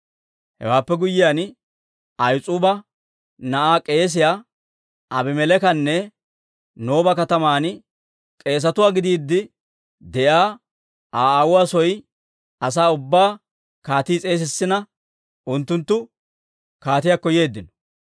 Hewaappe guyyiyaan, Ahis'uuba na'aa k'eesiyaa Abimeleekanne Nooba kataman k'eesatuwaa gidiide de'iyaa Aa aawuwaa soo asaa ubbaa kaatii s'eesissina, unttunttu kaatiyaakko yeeddino.